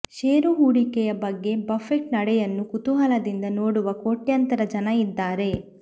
ಷೇರು ಹೂಡಿಕೆಯ ಬಗ್ಗೆ ಬಫೆಟ್ ನಡೆಯನ್ನು ಕುತೂಹಲದಿಂದ ನೋಡುವ ಕೋಟ್ಯಂತರ ಜನ ಇದ್ದಾರೆ